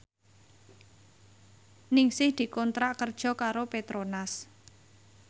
Ningsih dikontrak kerja karo Petronas